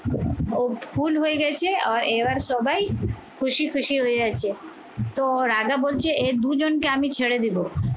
ও ভুল হয়ে গেছে আর এবার সবাই খুশি খুশি হয়ে যাচ্ছে তো রাজা বলছে এ দুজনকে আমি ছেড়ে দেবো